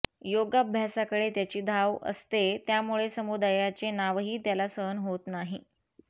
योगाभ्यासाकडे त्याची धाव असते त्यामुळे समुदायाचे नावही त्याला सहन होत नाही